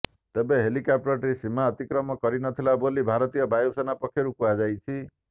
ତେବେ ହେଲିକପ୍ଟରଟି ସୀମା ଅତିକ୍ରମ କରିନଥିଲା ବୋଲି ଭାରତୀୟ ବାୟୁସେନା ପକ୍ଷରୁ କୁହାଯାଇଛି